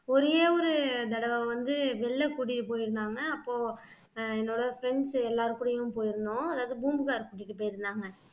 ஒரே ஒரு தடவை வந்து வெளில கூட்டிட்டு போயிருந்தாங்க அப்போ ஆஹ் என்னோட friends எல்லார்கூடயும் போயிருந்தோம் அதாவது பூம்புகார் கூட்டிட்டு போயிருந்தாங்க